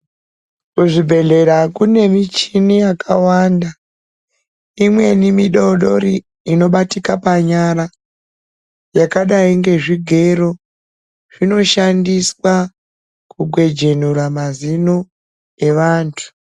Kuzvibhedhlera kune michini yakawanda. Imweni mudoodori inobatika panyara, yakadai ngezvigero. Zvinoshandiswa kugwejenura mazino evantu.